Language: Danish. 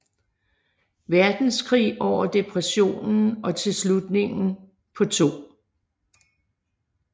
Verdenskrig over Depressionen og til slutningen på 2